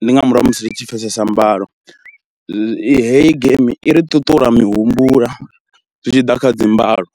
ndi nga murahu ha musi ri tshi pfesesa mbalo heyi geimi i ri ṱuṱula mihumbula zwi tshi ḓa kha dzi mbalo.